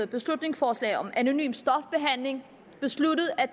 beslutningsforslag om anonym stofbehandling besluttet at